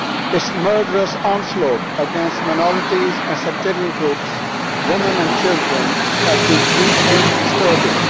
Its murderous onslaught against minorities and sectarian groups, women and children, has been deeply disturbing.